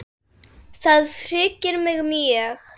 Styrkja þeir liðin mikið?